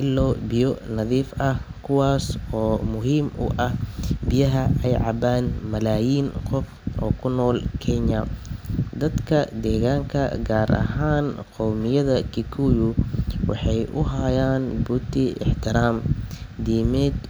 ilo biyo nadiif ah kuwaasoo muhiim u ah biyaha ay cabaan malaayiin qof oo ku nool Kenya. Dadka deegaanka gaar ahaan qowmiyadda Kikuyu waxay u hayaan buurta ixtiraam diimeed.